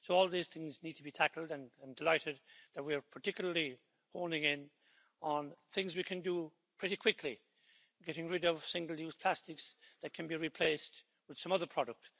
So all these things need to be tackled, and I'm delighted that we're particularly honing in on things we can do pretty quickly getting rid of single-use plastics that can be replaced with some other product.